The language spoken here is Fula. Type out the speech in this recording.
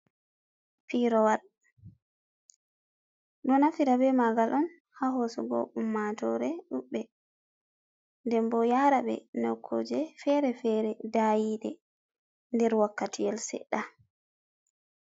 Pirowal, ɗo nafira be magal on ha hosugo ummatore ɗubɓe. Ɗen bo yara be nokkuje fere-fere dayide nder wakkati yel sedda.